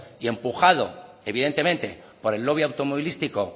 y empujado evidentemente por el lobby automovilístico